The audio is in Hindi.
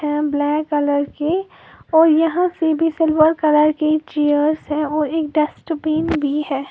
ब्लैक कलर की और यहाँ कि भी सिल्वर कलर की चेयर्स है और एक डस्टबिन भी है।